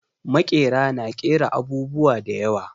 Maƙera na ƙera abubuwa da yawa.